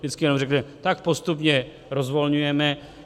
Vždycky jenom řekne: tak postupně rozvolňujeme.